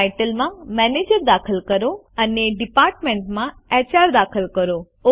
title માં manager દાખલ કરો અને ડિપાર્ટમેન્ટ માં એચઆર દાખલ કરો